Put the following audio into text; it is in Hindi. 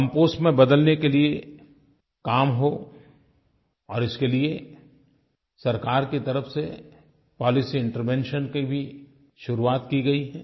कंपोस्ट में बदलने के लिये काम हो और इसके लिये सरकार की तरफ़ से पॉलिसी इंटरवेंशन की भी शुरुआत की गई है